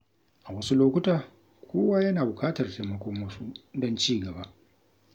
A wasu lokuta, kowa yana bukatar taimakon wasu don ci gaba.